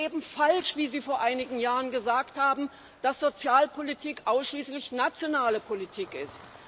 Es ist eben falsch, wie Sie vor einigen Jahren gesagt haben, dass Sozialpolitik ausschließlich nationale Politik ist.